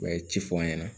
U bɛ ci fɔ an ɲɛna